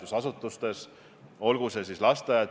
Nüüd küsimus kontserdist, mille kohta küsis ka Kristen Michal.